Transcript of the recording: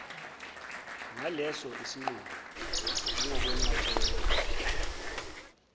ngaleso sinqumo nangokwenqatshelwa